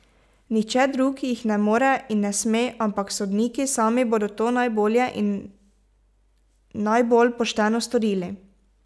Nihče drug jih ne more in ne sme, ampak sodniki sami bodo to najbolje in najbolj pošteno storili.